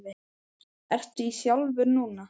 Ertu í þjálfun núna?